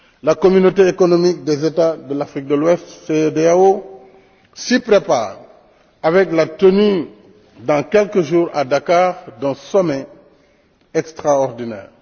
La Communauté économique des États de l'Afrique de l'Ouest s'y prépare avec la tenue, dans quelques jours, à Dakar, d'un sommet extraordinaire.